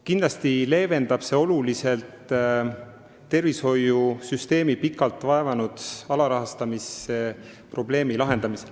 Kindlasti leevendab see oluliselt tervishoiusüsteemi pikalt vaevanud alarahastamise probleemi.